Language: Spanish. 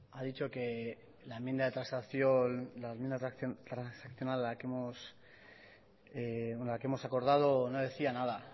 ha dicho que la enmienda de transaccionada quehemos acordado no decía nada